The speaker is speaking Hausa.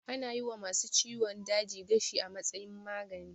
Ana yi wa ma su ciwon daji gashi a matsayin magani